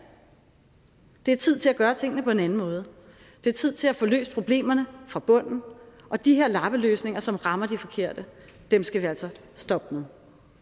det er tid til at gøre tingene på en anden måde det er tid til at få løst problemerne fra bunden og de her lappeløsninger som rammer de forkerte skal vi altså stoppe